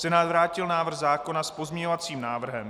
Senát vrátil návrh zákona s pozměňovacím návrhem.